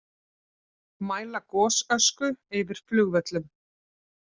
Mæla gosösku yfir flugvöllum